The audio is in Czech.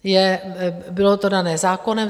Bylo to dané zákonem.